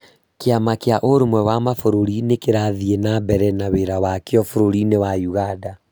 Kĩama kĩa Ũrũmwe wa Mabũrũri nĩ kĩrathiĩ na mbere na wĩra wakĩo bũrũri-inĩ wa Uganda.